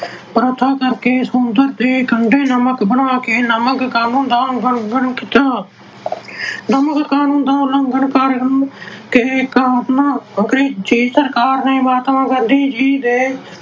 ਪ੍ਰਾਥਨਾ ਕਰਕੇ ਸਮੁੰਦਰ ਦੇ ਕੰਢੇ ਨਮਕ ਬਣਾ ਕੇ ਨਮਕ ਕਾਨੂੰਨ ਦਾ ਉਲੰਘਣ ਕੀਤਾ। ਨਮਕ ਕਾਨੂੰਨ ਦਾ ਉਲੰਘਣ ਕਰਨ ਦੇ ਕਾਰਨ ਅੰਗਰੇਜ ਸਰਕਾਰ ਨੇ ਮਹਾਤਮਾ ਗਾਂਧੀ ਜੀ ਦੇ